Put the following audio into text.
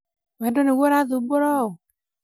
wendo nĩguo ũrathubũra ũũ?